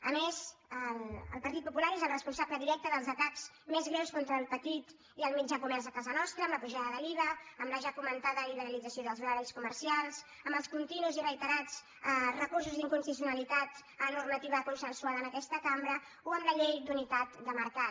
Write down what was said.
a més el partit popular és el responsable directe dels atacs més greus contra el petit i el mitjà comerç a casa nostra amb la pujada de l’iva amb la ja comentada liberalització dels horaris comercials amb els continus i reiterats recursos d’inconstitucionalitat a la normativa consensuada en aquesta cambra o amb la llei d’unitat de mercat